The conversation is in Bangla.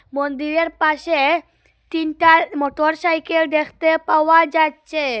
মন্দিরের পাশে তিনটার মোটরসাইকেল দেখতে পাওয়া যাচ্চে ।